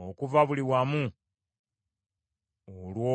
okuva buli wamu olw’obwenzi bwo.